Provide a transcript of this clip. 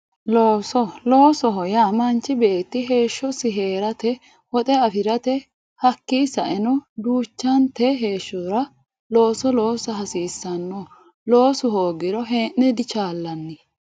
Looso loosoho yaa manchi beetti heeshshosi heerate woxe afirate hakkii saeno duuchante heeshshora looso loosa hasiissanno loosu hoogiro hee'ne dichaallanni